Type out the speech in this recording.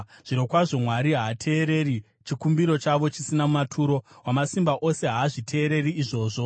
Zvirokwazvo, Mwari haateereri chikumbiro chavo chisina maturo; Wamasimba Ose haazviteereri izvozvo.